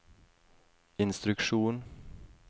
instruksjon